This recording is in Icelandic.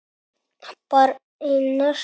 Barn: Einar.